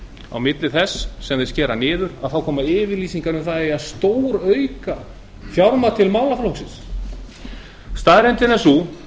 á milli þess sem hún sker niður koma yfirlýsingar um að það eigi að stórauka fjármagn til málaflokksins staðreyndin er sú